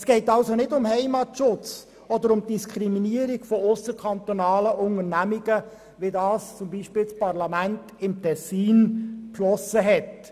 Es geht folglich nicht um Heimatschutz oder die Diskriminierung ausserkantonaler Unternehmungen, wie es beispielsweise vom Tessiner Kantonsparlament beschlossen wurde.